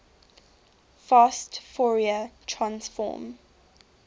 fast fourier transform